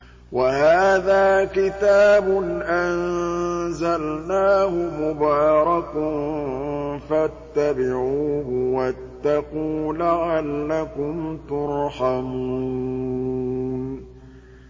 وَهَٰذَا كِتَابٌ أَنزَلْنَاهُ مُبَارَكٌ فَاتَّبِعُوهُ وَاتَّقُوا لَعَلَّكُمْ تُرْحَمُونَ